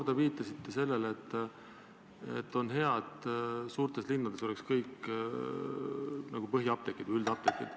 Te viitasite mitu korda sellele, et on hea, kui suurtes linnades oleksid ainult põhiapteegid või üldapteegid.